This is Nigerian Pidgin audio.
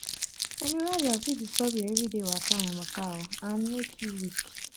menorrhagia fit disturb your everyday waka and waka and make you weak.